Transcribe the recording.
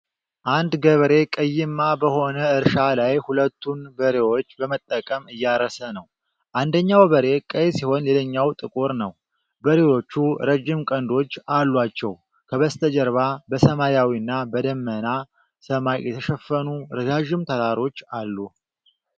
አንድ ገበሬ ቀይማ በሆነ እርሻ ላይ ሁለቱን በሬዎች በመጠቀም እያረሰ ነው። አንደኛው በሬ ቀይ ሲሆን ሌላኛው ጥቁር ነው። በሬዎቹ ረጅም ቀንዶች አሏቸው። ከበስተጀርባ በሰማያዊና በደመናማ ሰማይ የተሸፈኑ ረዣዥም ተራሮች አሉ።